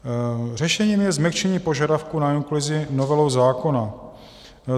Řešením je změkčení požadavku na inkluzi novelou zákona.